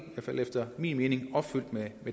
fald efter min mening opfyldt med